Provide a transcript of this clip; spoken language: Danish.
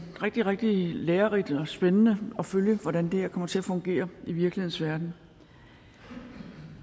rigtig rigtig lærerigt og spændende at følge hvordan det her kommer til at fungere i virkelighedens verden